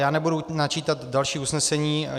Já nebudu načítat další usnesení.